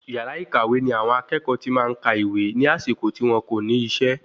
Yàrá ìkàwé ní àwọn akẹ́kọ̀ọ́ tí máa ń kàwé ní àsìkò tí wọn kò ní isẹ́